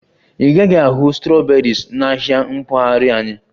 Ị gaghị ahụ strawberries na ahịa mpaghara anyị